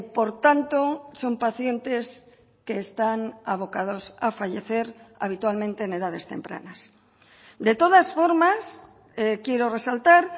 por tanto son pacientes que están abocados a fallecer habitualmente en edades tempranas de todas formas quiero resaltar